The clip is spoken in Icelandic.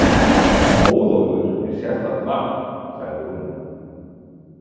Móðólfur er sérstakt nafn, sagði hún.